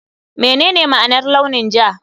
Menene ma'anar launin ja?